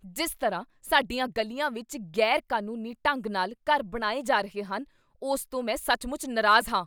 ਜਿਸ ਤਰ੍ਹਾਂ ਸਾਡੀਆਂ ਗਲੀਆਂ ਵਿੱਚ ਗ਼ੈਰ ਕਾਨੂੰਨੀ ਢੰਗ ਨਾਲ ਘਰ ਬਣਾਏ ਜਾ ਰਹੇ ਹਨ, ਉਸ ਤੋਂ ਮੈਂ ਸੱਚਮੁੱਚ ਨਾਰਾਜ਼ ਹਾਂ